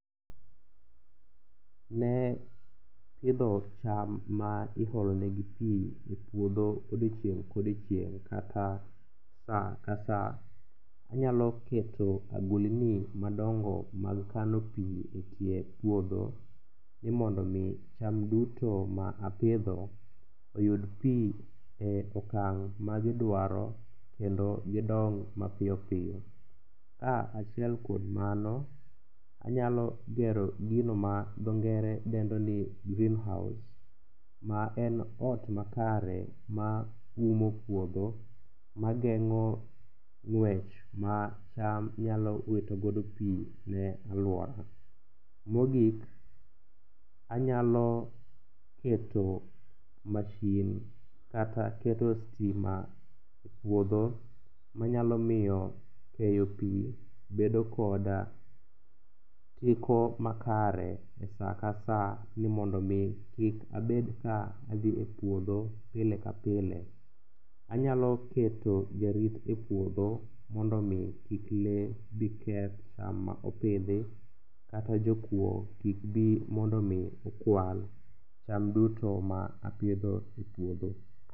Ne pidho cham ma iholonegi pi e puodho odiechieng' kodiechieng' kata sa ka sa, anyalo keto agulni madongo mag kano pi e kiep puodho ni mondo omi cham duto ma apidho oyud pi e okang' magidwaro kendo gidong mapiyopiyo. Kaachiel kod mano, anyalo gero gino ma dho ngere dendo ni green house ma en ot makare maumo puodho mageng'o ng'wech ma cham nyalo witogodo pi ne alwora. Mogik anyalo keto mashin kata keto stima e puodho manyalo miyo keyo pi bedo kod teko makare e sa ka sa ni mondo omi kik abed ka adhi e puodho pile ka plie. Anyalo keto jarit e puodho mondo omi kik lee bi keth cham ma opidhi, kata jokuo kik bi mondo omi okwal cham duto ma apidho e puodho.